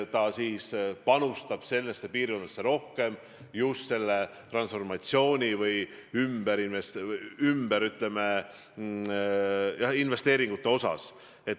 Ta peab panustama nendesse piirkondadesse rohkem just selleks transformatsiooniks vajalikke investeeringuid.